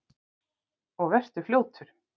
Og vertu fljótur.